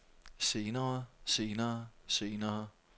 senere senere senere